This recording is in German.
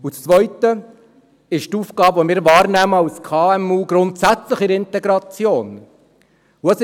Und das Zweite ist die Aufgabe, die wir als KMU grundsätzlich in der Integration wahrnehmen.